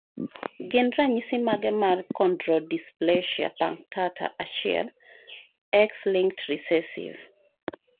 Gin ranyisi mage mar Chondrodysplasia punctata 1, X linked recessive?